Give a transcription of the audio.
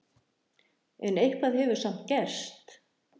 En eitthvað hefur samt gerst.